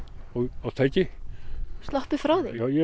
á tæki sloppið frá því ég er